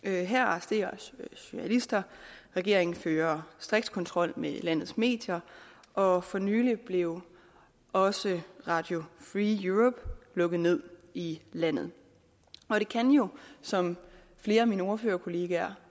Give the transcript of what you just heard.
her arresteres journalister regeringen fører striks kontrol med landets medier og for nylig blev også radio free europe lukket ned i landet det kan jo som flere af mine ordførerkolleger